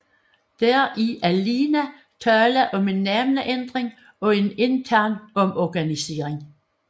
Der er alene tale om en navneændring og en intern omorganisering